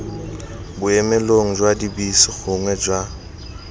boemelong jwa dibese gongwe jwa